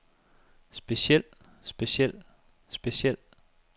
speciel speciel speciel